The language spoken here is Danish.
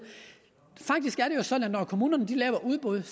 når kommunerne laver udbud